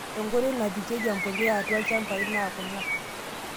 Nkoitoi naa pikieki empuliya atua ilchambai naa kuna;